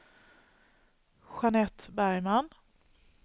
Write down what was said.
Jeanette Bergman